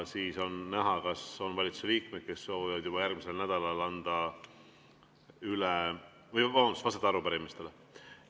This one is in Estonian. Siis on näha, kas on valitsuse liikmeid, kes soovivad juba järgmisel nädalal arupärimistele vastata.